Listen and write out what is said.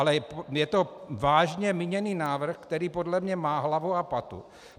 Ale je to vážně míněný návrh, který podle mě má hlavu a patu.